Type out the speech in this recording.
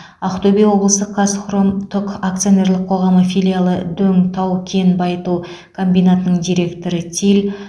ақтөбе облысы казхром тұк акционерлік қоғамы филиалы дөң тау кен байыту комбинатының директоры тиль